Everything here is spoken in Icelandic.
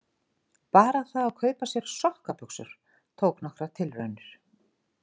Bara það að kaupa sér sokkabuxur tók nokkrar tilraunir.